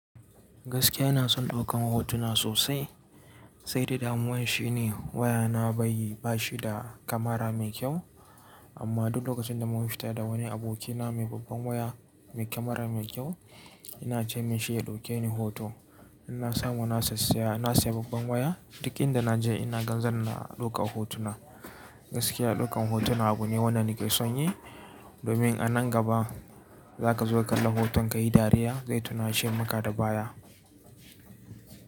Gaskiya ina son ɗaukan hotuna sosai, sai da damuwan shine wayana bashi da kamara mai kyau. Amma duk lokacin da mun fita da wani abokina mai babban waya mai kamara mai kyau, ina ce mishi ya ɗauke ni hoto. In na samu na siya babban waya, duk inda na je ina ga zan na ɗauka hotuna. Gaskiya ɗaukan hotuna abu ne wanda nake son yi, domin a nan gaba zaka zo ka kalla hoton kayi dariya zai tuna she maka da baya.